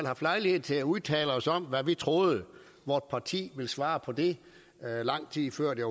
haft lejlighed til at udtale os om hvad vi troede vort parti ville svare på det lang tid før det